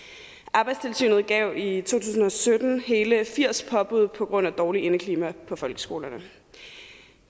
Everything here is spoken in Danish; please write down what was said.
arbejdstilsynet gav i to tusind og sytten hele firs påbud på grund af dårligt indeklima på folkeskolerne